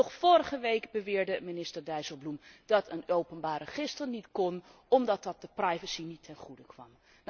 Nog vorige week beweerde minister Dijsselbloem dat een openbaar register niet kon omdat dat de privacy niet ten goede kwam.